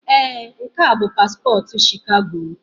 Ee, nke a bụ paspọtụ Shikago m.